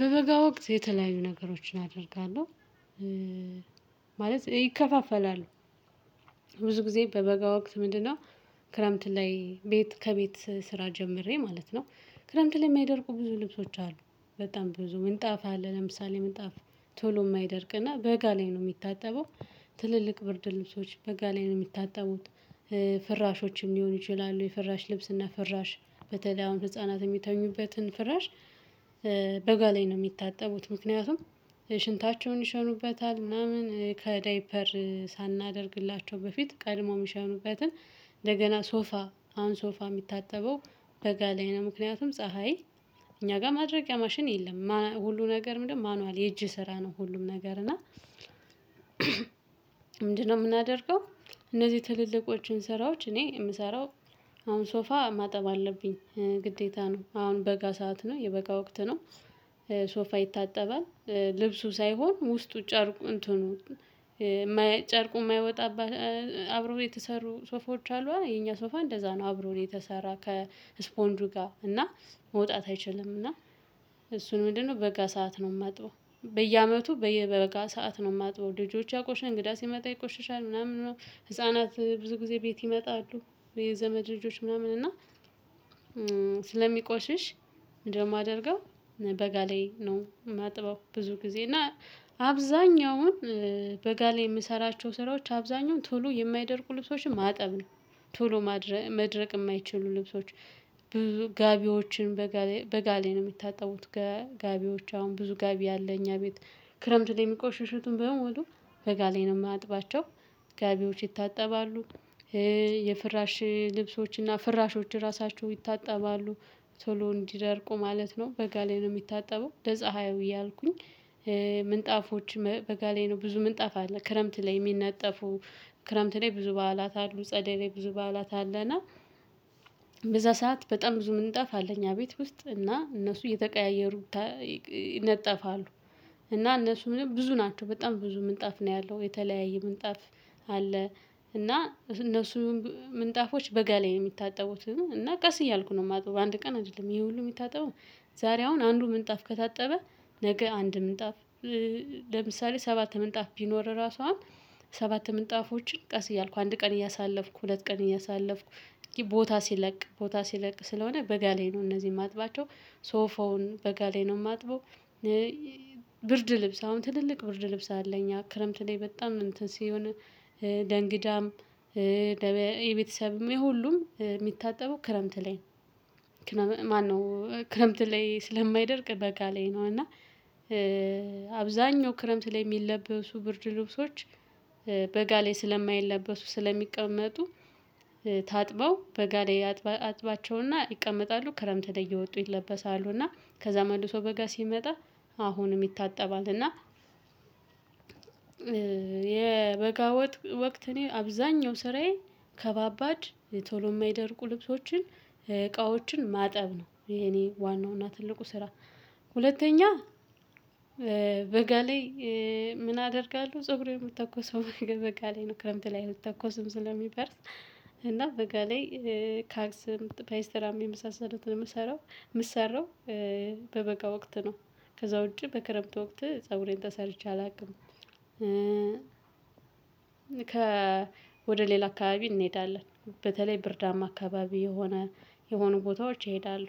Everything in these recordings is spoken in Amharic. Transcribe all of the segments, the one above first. በበጋ ወቅት የተለያዩ ነገሮችን አደርጋለሁ። ማለት ይከፋፈላሉ ብዙ ጊዜ በበጋ ወቅት ምንድነው? ክረምት ላይ ቤት ከቤት ስራ ጀምሬ ማለት ነው። ክረምት ላይ የማይደርቁ ብዙ ልብሶች አሉ። በጣም ብዙ ምንጣፋ አለ ለምሳሌ ምንጣፋ ቶሎ የማይደርቅና በጋ ላይ ነው የሚታጠበው። ትልልቅ ብርድ ልብሶች በጋ ላይ ነው የሚታጠቡት። ፍራሾችም ሊሆኑ ይችላሉ የፍራሽ ልብስና ፍራሽ በተለይ አሁን ህፃናት የሚተኙበትን ፍራሽ። በጋ ላይ ነው የሚታጠቡት ምክንያቱም ሽንታቸውን ይሸኑበታል ምናምን ከዳይፐር። በፊት ቀድሞ ምሽት ነው እውቀትን። እንደገና ሶፋ አሁን ሶፋ የሚታጠበው። በጋ ላይ ነው ምክንያቱም ፀሀይ እኛ ጋር ማድረቂያ ማሽን የለም ሁሉ ነገር ምንድነው ማኑዋል የእጅ ስራ ነው ሁሉም ነገር እና ምንድነው የምናደርገው። እነዚህ ትልልቆቹን ስራዎች እኔ የምሰራው። አሁን ሶፋ ማጠብ አለብኝ ግዴታ ነው አሁን በጋ ሰዓት ነው የበጋ ወቅት ነው። ሶፋ ይታጠባል። ልብሱ ሳይሆን ውስጡ ጨርቁ እንትኑ። ጨርቁ የማይወጣባት አብሮ የተሰሩ ሶፎች አሉ የኛ ሶፋ እንደዛ ነው አብሮ የተሰራ ከስፖንዱ ጋር እና መውጣት አይችልም። እና እሱን ምንድነው በጋ ሰዓት ነው የማጥበው በየአመቱ በየበጋ ሰዓት ነው የማጥበው። ልጆች ያቆሸ እንግዳ ሲመጣ ይቆሸሻል ምናምን ነው። ህፃናት ብዙ ጊዜ ቤት ይመጣሉ። የዘመድ ልጆች ምናምን እና ስለሚቆሽሽ እንደማደርገው በጋ ላይ ነው የማጥበው። ብዙ ጊዜ እና አብዛኛውን በጋ ላይ የምሰራቸው ስራዎች አብዛኛውን ቶሎ የማይደርቁ ልብሶችን ማጠብ ነው። ቶሎ ማድረግ መድረቅ የማይችሉ ልብሶች። ጋቢዎችን በጋ ላይ በጋ ላይ ነው የሚታጠቡት። ጋቢዎች አሁን ብዙ ጋቢ ያለ እኛ ቤት ክረምት ላይ የሚቆሽሽቱን የሚቆሽሹትን በሙሉ በጋ ላይ ነው የማጥባቸው። ጋቢዎች ይታጠባሉ። የፍራሽ ልብሶችና ፍራሾች ራሳቸው ይታጠባሉ። ቶሎ እንዲደርቁ ማለት ነው በጋ ላይ ነው የሚታጠበው ለፀሀዩ እያልኩኝ። ምንጣፎች በጋ ላይ ነው ብዙ ምንጣፍ አለ ክረምት ላይ የሚነጠፉ። ክረምት ላይ ብዙ በዓላት አሉ ጸደይ ላይ ብዙ በዓላት አለና። በዛ ሰዓት በጣም ብዙ ምንጥጣፍ አለ እኛ ቤት ውስጥ እና እነሱ እየተቀያየሩ ይነጠፋሉ። እና እነሱ ምንም ብዙ ናቸው በጣም ብዙ ምንጣፍ ነው ያለው የተለያየ ምንጣፍ። አለ። እና እነሱ ምንጣፎች በጋ ላይ የሚታጠቡት እና ቀስ እያልኩ ነው የማጠበው አንድ ቀን አይደለም ይሄ ሁሉ የሚታጠበው። ዛሬ አሁን አንዱ ምንጣፍ ከታጠበ ነገ አንድ ምንጣፍ። ለምሳሌ ሰባት ምንጣፍ ቢኖር ራሱ አሁን ሰባት ምንጣፎችን ቀስ እያልኩ አንድ ቀን እያሳለፍኩ ሁለት ቀን እያሳለፍኩ እንግዲህ ቦታ ሲለቅ ቦታ ሲለቅ ስለሆነ በጋ ላይ ነው እነዚህን ማጥባቸው። ሶፋውን በጋ ላይ ነው የማጥበው። ብርድ ልብስ አሁን ትልልቅ ብርድ አለኝ እኛ ክረምት ላይ በጣም እንትን ሲሆን። ለእንግዳም ለቤተሰብም የሁሉም የሚታጠበው ክረምት ላይ ነው። ማነው ክረምት ላይ ስለማይደርቅ በጋ ላይ ነው እና አብዛኛው ክረምት ላይ የሚለበሱ ብርድ ልብሶች። በጋ ላይ ስለማይለበሱ ስለሚቀመጡ ታጥበው በጋ ላይ አጥባቸውና ይቀመጣሉ ክረምት ላይ እየወጡ ይለበሳሉ። እና ከዛ መልሶ በጋ ሲመጣ አሁንም ይታጠባል። እና የበጋው ወቅት እኔ አብዛኛው ስራዬ ከባባድ ቶሎ የማይደርቁ ልብሶችን እቃዎችን ማጠብ ነው። ይሄ እኔ ዋናው እና ትልቁ ስራ። ሁለተኛ በጋ ላይ ምን አደርጋለሁ? ፀጉሬን የምተኮሰው በጋ ላይ ነው ክረምት ላይ አልተኮስም ስለሚፈርስ። እና በጋ ላይ ካክስ ፔይስትራም የመሳሰሉትትን የምስራው በበጋ ወቅት ነው። ከዛ ውጪ በክረምት ወቅት ፀጉሬን ተሰርቼ አላውቅም። ከ ወደ ሌላ አካባቢ እንሄዳለን በተለይ ብርዳማ አካባቢ የሆነ የሆኑ ቦታዎች ይሄዳሉ።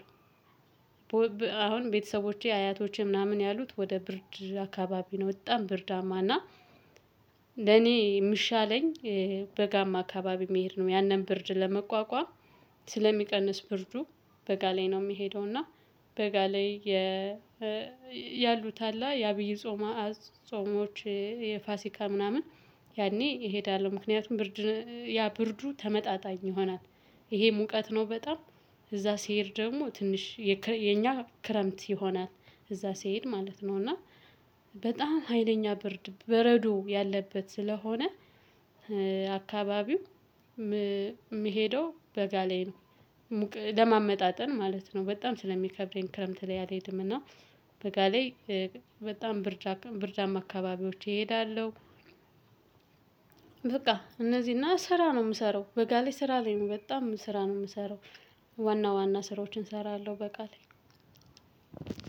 አሁን ቤተሰቦቼ አያቶቼ ምናምን ያሉት ወደ ብርድ አካባቢ ነው በጣም ብርዳማ እና። ለኔ የምሻለኝ በጋማ አካባቢ መሄድ ነው። ያንን ብርድ ለመቋቋም ስለሚቀንስ ብርዱ በጋ ላይ ነው የሚሄደው። እና በጋ ላይ ያሉት አለ የአብይ ጾማ ጾሞች የፋሲካ ምናምን ያኔ እሄዳለሁ ምክንያቱም ብርድ ያ ብርዱ ተመጣጣኝ ይሆናል። ይሄ ሙቀት ነው በጣም እዛ ሲሄድ ደግሞ ትንሽ የኛ ክረምት ይሆናል። እዛ ሲሄድ ማለት ነው እና በጣም ሀይለኛ በረዶ ያለበት ስለሆነ አካባቢው የምሄደው በጋ ላይ ነው። ለማመጣጠን ማለት ነው በጣም ስለሚከብረኝ ክረምት ላይ አልሄድምና። በጋ ላይ በጣም ብርዳማ አካባቢዎች እሄዳለሁ። በቃ እነዚህ እና ስራ ነው የምሰራው በጋ ላይ ስራ ላይ ነው በጣም ስራ ነው የምሰራው። ዋና ዋና ስራዎችን እሰራለሁ በቃሌ።